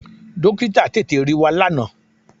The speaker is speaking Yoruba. Dọ́kítà tètè rí wa lánàá.